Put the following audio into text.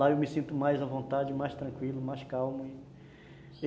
Lá eu me sinto mais à vontade, mais tranquilo, mais calmo e